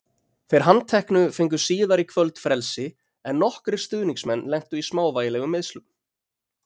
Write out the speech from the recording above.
Þeir handteknu fengu síðar í kvöld frelsi en nokkrir stuðningsmenn lentu í smávægilegum meiðslum.